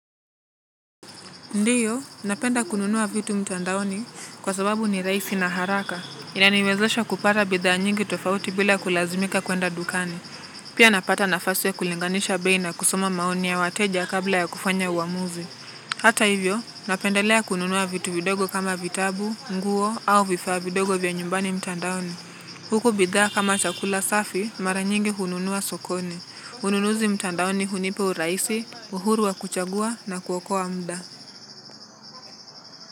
Ndiyo, napenda kununua vitu mtandaoni kwa sababu ni rahisj na haraka. Inaniwezesha kupata bidhaa nyingi tofauti bila kulazimika kwenda dukani. Pia napata nafasi ya kulinganisha bei na kusoma maoni ya wateja kabla ya kufanya uamuzi. Hata hivyo, napendelea kununua vitu vidogo kama vitabu, nguo au vifaa vidogo vya nyumbani mtandaoni. Huku bidhaa kama chakula safi, mara nyingi hununua sokoni. Ununuzi mtandaoni hunipa urahisi, uhuru wa kuchagua na kuokoa muda.